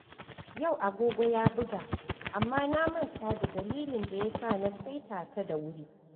Yau agogo ya buga, amma na manta da dalilin da yasa na saita ta da wuri.